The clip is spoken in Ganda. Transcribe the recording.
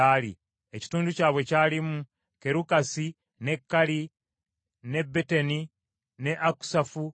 Ekitundu kyabwe kyalimu Kerukasi ne Kali ne Beteni ne Akusafu,